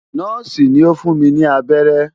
Nọ́ọ̀sì ni ó fún mi ní abẹ́rẹ́.